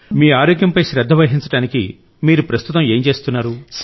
మీ ఆరోగ్యంపై శ్రద్ధ వహించడానికి మీరు ప్రస్తుతం ఏమి చేస్తున్నారు